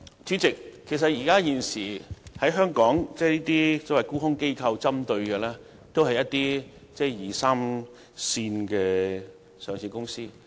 主席，現時這些沽空機構所針對的都是一些二三線的上市公司。